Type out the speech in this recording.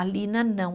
A Lina, não.